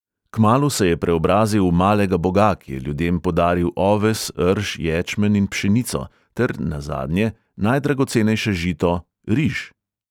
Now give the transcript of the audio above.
Kmalu se je preobrazil v malega boga, ki je ljudem podaril oves, rž, ječmen in pšenico ter, nazadnje, najdragocenejše žito — riž.